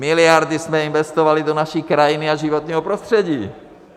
Miliardy jsme investovali do naší krajiny a životního prostředí.